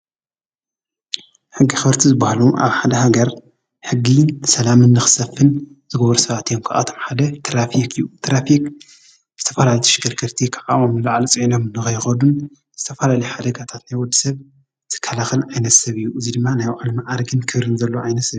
ሕጊ ኣኽበርቲ ዝበሃሉ ኣብ ሓደ ሃገር ሕጊ ሰላምን ንኽሰፍን ዝገብሩ ሰባት እዮም ካብኣቶም ሓደ ትራፊክ እዩ ትራፊክ ዝተፈላለዩ ተሽከርከርቲ ካብ ዓቕሞም ንላዕሊ ፅዒኖም ከይኸዱን ዝተፈላለዩ ሓደጋታት ናይ ወድሰብ ዝከላከልን ዓይነት ሰብ እዩ እዙይ ድማ ናይ ባዕሉ ማዕርግን ክብርን ዘለዎ ዓይነት ሰብ እዩ